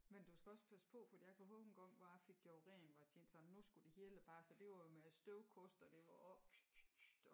Men du skal også passe på for at a kan hove engang hvor a fik gjort rent hvor jeg tænkte sådan nu skulle det hele bare så det var med med støvkost og det var oppe pst pst pst